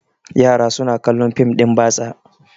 yara suna kallon fim din batsa